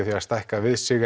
að stækka við sig